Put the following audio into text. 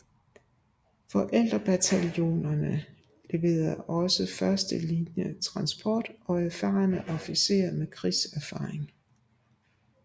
Forældrebataljonerne leverede også første linje transport og erfarne officerer med krigserfaring